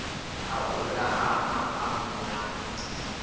u hula ha maḓamu na